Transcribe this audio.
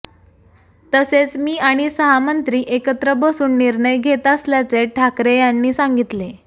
तसेच मी आणि सहा मंत्री एकत्र बसून निर्णय घेत असल्याचे ठाकरे यांनी सांगितले